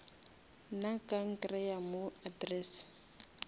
nna ka nkreya mo address